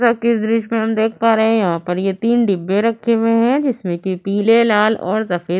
कि इस दृश्य हम देख पा रहे हैं यहां पर ये तीन डिब्बे रखे हुए हैं जिसमें कि पीले लाल और सफेद --